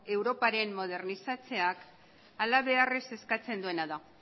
europaren modernizatzeak halabeharrez eskatzen duena da